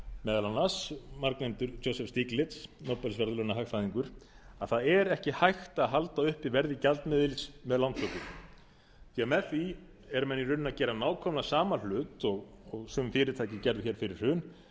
meðal annars margnefndur joseph stiegler nóbelsverðlaunahagfræðingur að það er ekki hægt að halda uppi verði gjaldmiðils með lántöku því með því eru menn í rauninni að gera nákvæmlega sama hlut og sum fyrirtæki gerðu fyrir hrun þegar þau